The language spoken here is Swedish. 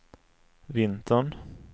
vintern